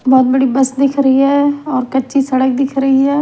बहुत बड़ी बस दिख रही हैऔर कच्ची सड़क दिख रही है।